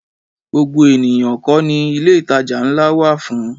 Gbogbo ènìyàn kọ́ ni ilé-ìtajà ńlá wà fún